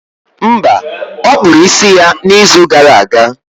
Mba, ọ kpụrụ isi ya n'izu gara aga.